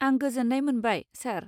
आं गोजोन्नाय मोनबाय, सार।